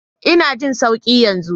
Ina jin sauki yanzu.